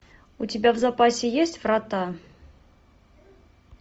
у тебя в запасе есть врата